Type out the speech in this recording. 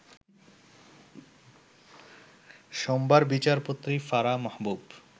সোমবার বিচারপতি ফারাহ মাহবুব